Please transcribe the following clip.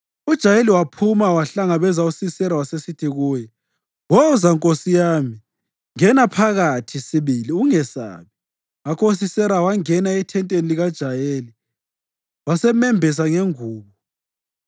UJayeli waphuma wahlangabeza uSisera wasesithi kuye, “Woza nkosi yami, ngena phakathi sibili. Ungesabi.” Ngakho uSisera wangena ethenteni likaJayeli, wasemembesa ngengubo.